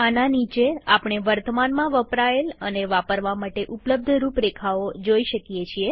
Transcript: આના નીચેઆપણે વર્તમાનમાં વપરાયેલ અને વાપરવા માટે ઉપ્લબ્ધ રૂપરેખાઓ જોઈ શકીએ છીએ